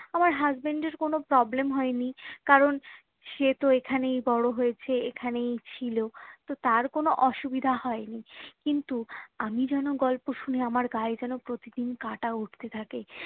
আমার হাসবেন্ড এর কোনো problem হয়নি কারণ সে তো এখানেই বড়ো হয়েছে এখানেই ছিল তো তার কোনো অসুবিধা হয়নি কিন্তু আমি যেন গল্প শুনে আমার গায়ে যেন প্রতিদিন কাটা উঠতে থাকে